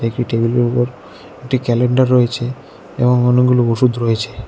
একটি টেবিলের উপর একটি ক্যালেন্ডার রয়েছে এবং অনেকগুলো ওষুধ রয়েছে।